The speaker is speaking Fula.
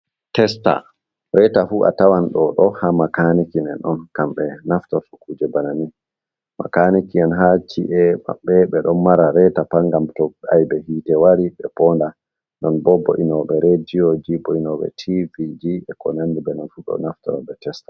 Testa reta fu a tawan ɗo ɗo ha makaniki men on kamɓe naftirti kuje bannanin, makaniki en ha ci’e maɓɓe ɓe ɗo mara reta pat ngam to aibe hite wari ɓe ponda, nonbo bo'inoɓe rediyoji, bo'inoɓe tiviji, be ko nandi be nonfu ɗo naftiro be testa.